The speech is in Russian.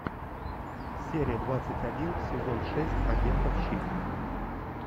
серия двадцать один сезон шесть агентов щит